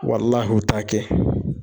Walahi u t'a kɛ